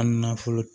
A nafolo